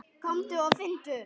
Komdu og finndu!